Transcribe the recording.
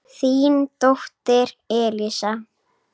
Þín dóttir, Elsa.